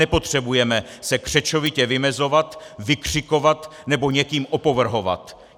Nepotřebujeme se křečovitě vymezovat, vykřikovat, nebo někým opovrhovat!